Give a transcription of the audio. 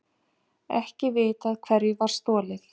Ekki vitað hverju var stolið